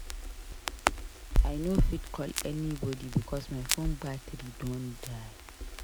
I no fit call anybodi because my fone battery don die.